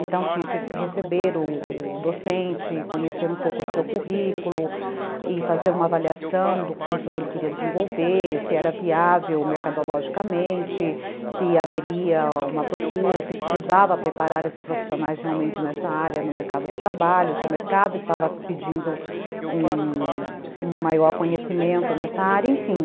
Então, tinha que receber o docente, conhecer um pouco do seu currículo e fazer uma avaliação do curso que ele queria desenvolver, se era viável mercadologicamente, se haveria uma procura, se precisava preparar esses profissionais realmente nessa área no mercado de trabalho, se o mercado estava pedindo um um maior conhecimento nessa área, enfim.